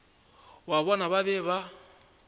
ya bona ba be ba